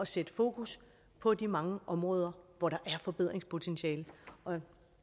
sætte fokus på de mange områder hvor der er forbedringspotentiale